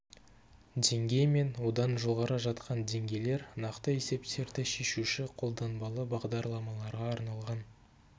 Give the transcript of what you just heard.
деңгей мен одан жоғары жатқан деңгейлер нақты есептерді шешуші қолданбалы бағдарламаларға арналған